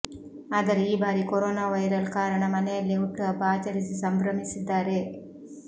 ಆದರೆ ಈ ಬಾರಿ ಕೊರೊನಾ ವೈರಲ್ ಕಾರಣ ಮನೆಯಲ್ಲೇ ಹುಟ್ಟುಹಬ್ಬ ಆಚರಿಸಿ ಸಂಭ್ರಮಿಸಿದ್ದಾರೆ